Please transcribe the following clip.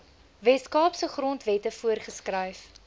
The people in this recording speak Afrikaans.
weskaapse grondwette voorgeskryf